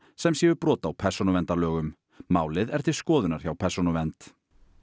sem séu brot á persónuverndarlögum málið er til skoðunar hjá Persónuvernd